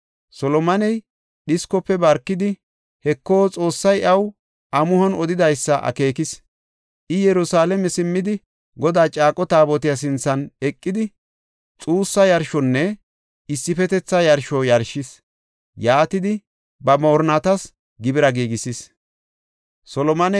Solomoney dhiskofe barkidi, Heko, Xoossay iyaw amuhon odidaysa akeekis. I, Yerusalaame simmidi, Godaa caaqo taabotiya sinthan eqidi, xuussa yarshonne issifetetha yarsho yarshis. Yaatidi, ba moorinnatas gibira giigisis.